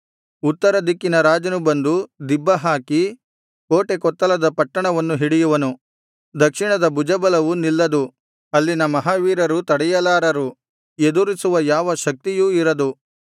ಉತ್ತರ ದಿಕ್ಕಿನ ರಾಜನು ಬಂದು ದಿಬ್ಬ ಹಾಕಿ ಕೋಟೆ ಕೊತ್ತಲದ ಪಟ್ಟಣವನ್ನು ಹಿಡಿಯುವನು ದಕ್ಷಿಣದ ಭುಜಬಲವು ನಿಲ್ಲದು ಅಲ್ಲಿನ ಮಹಾವೀರರು ತಡೆಯಲಾರರು ಎದುರಿಸುವ ಯಾವ ಶಕ್ತಿಯೂ ಇರದು